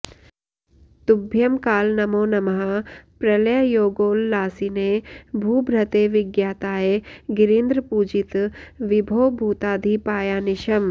तुभ्यं काल नमो नमः प्रलययोगोल्लासिने भूभृते विज्ञाताय गिरीन्द्रपूजित विभो भूताधिपायानिशम्